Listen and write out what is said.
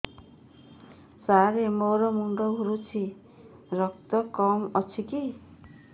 ସାର ମୋର ମୁଣ୍ଡ ଘୁରୁଛି ରକ୍ତ କମ ଅଛି କି